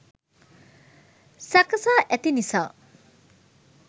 සකසා ඇති නිසා